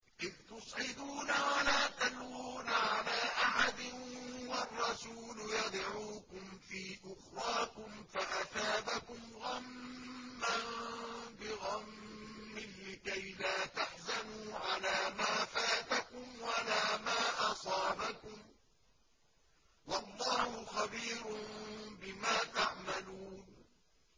۞ إِذْ تُصْعِدُونَ وَلَا تَلْوُونَ عَلَىٰ أَحَدٍ وَالرَّسُولُ يَدْعُوكُمْ فِي أُخْرَاكُمْ فَأَثَابَكُمْ غَمًّا بِغَمٍّ لِّكَيْلَا تَحْزَنُوا عَلَىٰ مَا فَاتَكُمْ وَلَا مَا أَصَابَكُمْ ۗ وَاللَّهُ خَبِيرٌ بِمَا تَعْمَلُونَ